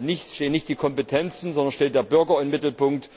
nicht die Kompetenzen, sondern die Bürger im Mittelpunkt.